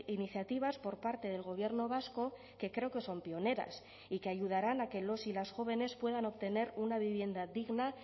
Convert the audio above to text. iniciativas por parte del gobierno vasco que creo que son pioneras y que ayudarán a que los y las jóvenes puedan obtener una vivienda digna